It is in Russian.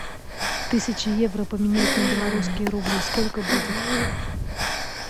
тысяча евро поменять на белорусские рубли сколько будет